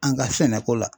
An ka sɛnɛko la